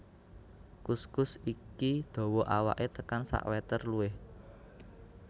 Kuskus iki dawa awaké tekan sakmétér luwih